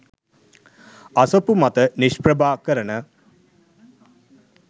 අසපු මත නිෂ්ප්‍රභා කරන